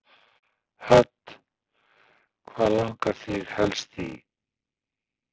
Hödd: Hvað langar þig helst í?